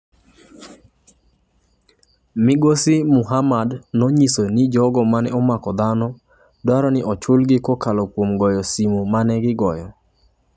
Migosi Muhammad nonyisa ni jogo mane omako dhano dwaro ni ochulgi kokalo kuom goyo simu mane gigoyo.